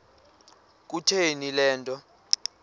kutheni le nto